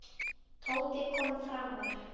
Tóti kom framar.